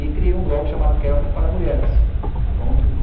E criei um blog chamado kelmerparamulheres ponto